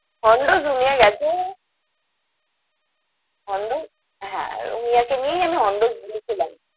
Hondo's গেছে। Hondo's হ্যাঁ, রুমিয়াকে নিয়েই আমি Hondo's গিয়েছিলাম।